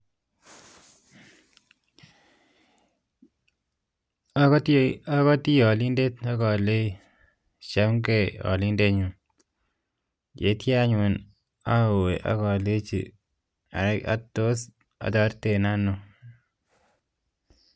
Akoto alendinye aleji, chamgei alendinye ak tos ataretitoiten ano